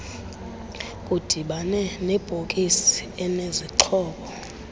kudibane nebhokisi enezixhobo